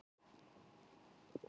Víðihrauni